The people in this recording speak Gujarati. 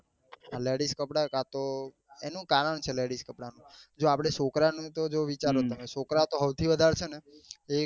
Ladieds કપડા કાતો એનું કારણ છે ladies કપડા નું જો આપડે છોકરા નું તો જો વિચારો તમે છોકરા ઓ થો સૌથી વધારે છે ને એક